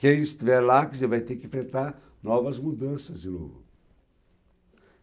Quem estiver lá, quer dizer, vai ter que enfrentar novas mudanças de novo.